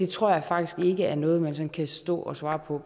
tror jeg faktisk ikke er noget man sådan kan stå og svare på